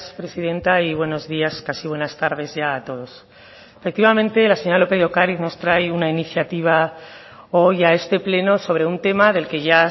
presidenta y buenos días casi buenas tardes ya a todos efectivamente la señora lópez de ocariz nos trae una iniciativa hoy a este pleno sobre un tema del que ya